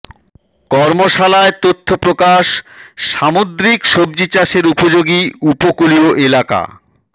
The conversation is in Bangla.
কর্মশালায় তথ্য প্রকাশ সামুদ্রিক সবজি চাষের উপযোগী উপকূলীয় এলাকা